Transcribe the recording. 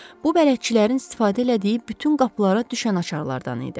Bu bələdçilərin istifadə elədiyi bütün qapılara düşən açarlardan idi.